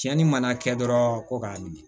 Cɛnni mana kɛ dɔrɔn ko k'a min